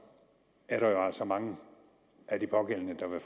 er der jo altså mange af de pågældende der vil